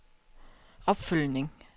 opfølgning